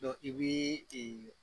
i bi